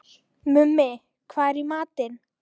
Mummi, hvað er í matinn?